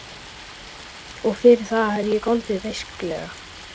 Og fyrir það hef ég goldið beisklega.